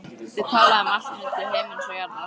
Þau tala um allt milli himins og jarðar.